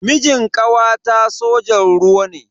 Mijin kawata sojan ruwa ne.